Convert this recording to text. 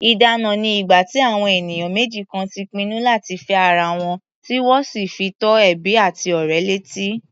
Ìdána ni ìgbà tí àwọn ènìyàn méjì kan ti pinnu láti fẹ́ ara wọn, tí wọ́n sì fi tó ẹbí àti ọ̀rẹ́ létí.